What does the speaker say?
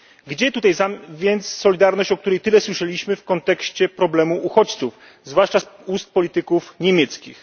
Gdzie tutaj więc solidarność, o której tyle słyszeliśmy w kontekście problemu uchodźców, zwłaszcza z ust polityków niemieckich?